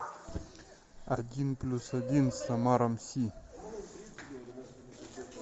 один плюс один с омаром си